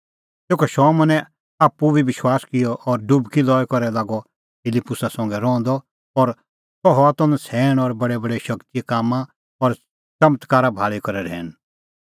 तेखअ शमौनै आप्पू बी विश्वास किअ और डुबकी लई करै लागअ फिलिप्पुसा संघै रहंदअ और सह हआ त नछ़ैण और बडैबडै शगतीए कामां और च़मत्कारा भाल़ी करै रहैन